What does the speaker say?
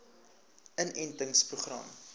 inentingproses